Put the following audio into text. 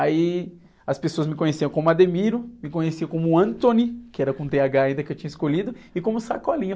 Aí as pessoas me conheciam como, me conheciam como, que era com tê-agá, ainda, que eu tinha escolhido, e como Sacolinha.